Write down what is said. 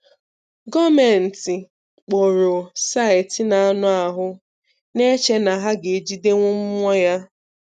Gọọmenti kpụọrọ Site n'anụ ahụ na-eche na ha ga-ejidenwu mmụọ ya.